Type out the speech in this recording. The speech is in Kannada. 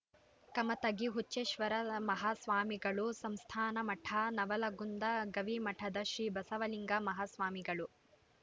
ಕಮತಗಿ ಹುಚ್ಚೇಶ್ವರ ಮಾಹಾಸ್ವಾಮಿಗಳು ಸಂಸ್ಥಾನಮಠ ನವಲಗುಂದ ಗವಿಮಠದ ಶ್ರೀ ಬಸವಲಿಂಗ ಮಾಹಾಸ್ವಾಮಿಗಳು